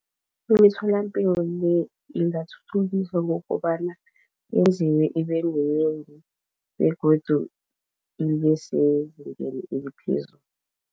Imitholampilo le ingathuthukisa ngokobana yenziwe ibeminengi begodu ibesezingeni eliphezulu.